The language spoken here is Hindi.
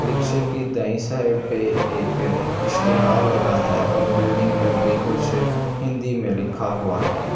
रिक्शे की दाई साइड पे एक इश्तेहार लगा है और बिल्डिंग पर भी कुछ हिंदी में लिखा हुआ है।